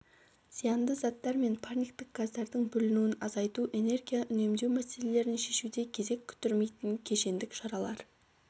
зиянды заттар мен парниктік газдардың бөлінуін азайту энергия үнемдеу мәселелерін шешуде кезек күттірмейтін кешендік шаралар